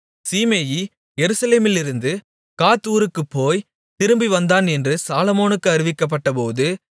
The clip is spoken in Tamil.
சீமேயி எருசலேமிலிருந்து காத் ஊருக்குப் போய் திரும்பி வந்தான் என்று சாலொமோனுக்கு அறிவிக்கப்பட்டபோது